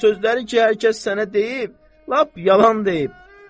O sözləri ki, hər kəs sənə deyib, lap yalan deyib.